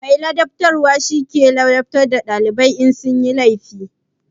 Mai ladabtarwa shi ke ladabtar da dalibai in sun yi laifi.